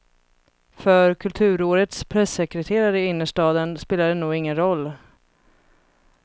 För kulturårets pressekreterare i innerstaden spelar det nog ingen roll.